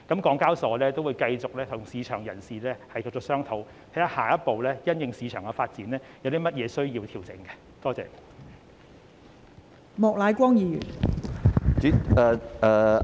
港交所會繼續與市場人士商討，因應市場發展，檢視下一步有甚麼需要作出調整。